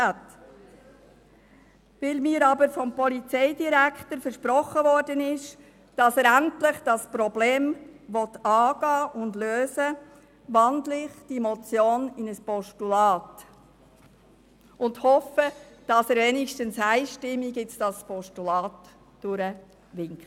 Weil mir aber vom Polizeidirektor versprochen worden ist, dass er das Problem endlich angehen und lösen will, wandle ich die Motion in ein Postulat um und hoffe, dass Sie wenigstens einstimmig das Postulat durchwinken.